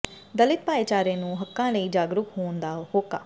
ਦਲਿਤ ਭਾਈਚਾਰੇ ਨੂੰ ਹੱਕਾਂ ਲਈ ਜਾਗਰੂਕ ਹੋਣ ਦਾ ਹੋਕਾ